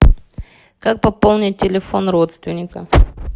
как пополнить телефон родственника